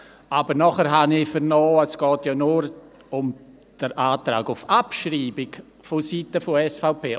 Danach habe ich aber vernommen, es gehe ja nur um den Antrag auf Abschreibung vonseiten der SVP.